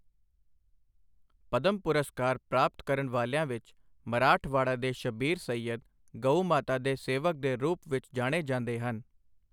ਪਦਮ ਪੁਰਸਕਾਰ ਪ੍ਰਾਪਤ ਕਰਨ ਵਾਲਿਆਂ ਵਿੱਚ ਮਰਾਠਵਾੜਾ ਦੇ ਸ਼ਬੀਰ ਸਈਅਦ, ਗਊਮਾਤਾ ਦੇ ਸੇਵਕ ਦੇ ਰੂਪ ਵਿੱਚ ਜਾਣੇ ਜਾਂਦੇ ਹਨ।